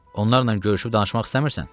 Onlarla görüşüb danışmaq istəmirsən?